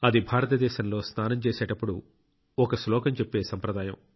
అది భారతదేశంలో స్నానం చేసేటప్పుడు ఒక శ్లోకం చెప్పే సంప్రదాయం